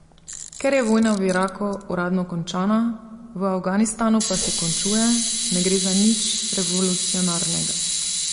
Ker je vojna v Iraku uradno končana, v Afganistanu pa se končuje, ne gre za nič revolucionarnega.